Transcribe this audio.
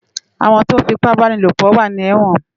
Awòn tó fipàbánilópò wà ni èwòn